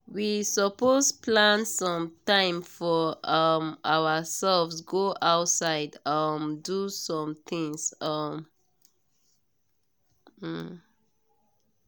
we suppose plan some time for um ourselves go outside um do some things. um um